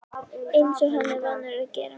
Eins og hann er vanur að gera.